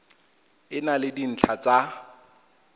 e na le dintlha tsa